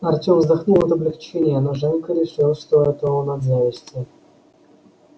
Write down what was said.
артем вздохнул от облегчения но женька решил что это он от зависти